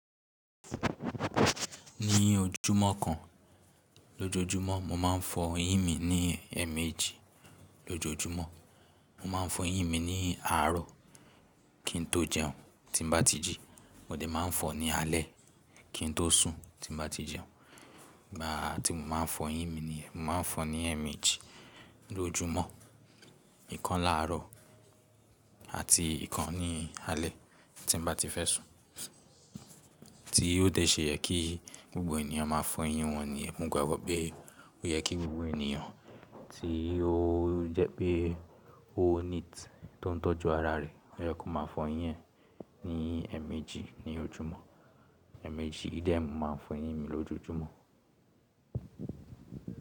Ní ojúmọ́ kan lójojúmọ́ mo máa ń fọ eyín mi ní ẹ̀ẹ̀mejì lójojúmọ́. Mo máa ń fọ eyín mi ní àárọ̀ kí n tó jẹun tí n bá ti jẹun. Mo dẹ̀ máa ń fọ ní alẹ́ kí n tó sùn tí bá ti jẹun. Ìgbà tí mo máa ń fọ eyín mi ni, mo máa ń fọ ní ẹ̀ẹ̀mejì lójumọ́, ìkan láàárọ̀ àti ìkan ní alẹ́ tí bá ti fẹ́ sùn. Tí ó dẹ̀ ṣe yẹ kí gbogbo ènìyàn máa fọ eyín wọn nìyẹn, mo gbàgbọ́ pé ó yẹ kí gbogbo ènìyàn tí ó jẹ́ pé ó neat tó ń tọ́jú ara rẹ̀, ó yẹ kó máa fọ eyín ẹ ní ẹ̀ẹ̀mejì ní ojúmọ́. Ẹ̀ẹ̀mejì yìí dẹ́ mọ̀ máa ń fọ eyín mi lójoójúmọ́.